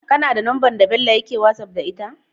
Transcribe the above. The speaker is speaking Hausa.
KAna da number da Bello yake whatsapp da ita?